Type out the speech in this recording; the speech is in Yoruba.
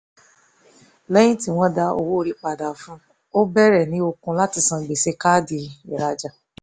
lẹ́yìn tí wọ́n dá owó orí padà fún un ó bẹ̀rẹ̀ ní okun láti san gbèsè káàdì ìrajà